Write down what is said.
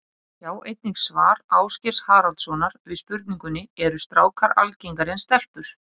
Sjá einnig svar Ásgeirs Haraldssonar við spurningunni Eru strákar algengari en stelpur?